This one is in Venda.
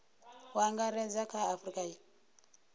u angaredza kha a afurika